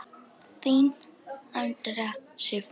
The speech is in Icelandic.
Þín, Andrea Sif.